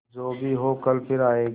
जो भी हो कल फिर आएगा